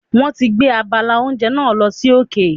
Wọ́n ti gbé abala oúnjẹ náà lọ sí òkè.